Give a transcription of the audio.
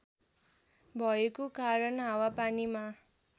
भएको कारण हावापानीमा